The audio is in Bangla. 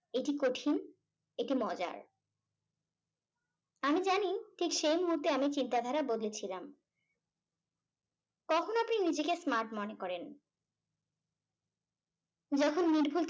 এটি কঠিন এটি মজার আমি জানি ঠিক সেই মুহূর্তে আমি চিন্তাধারা বদলেছিলাম। কখন আপনি নিজেকে smart মনে করেন? যখন নির্ভুল থাকেন।